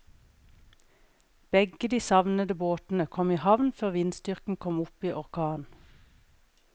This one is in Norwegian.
Begge de savnede båtene kom i havn før vindstyrken kom opp i orkan.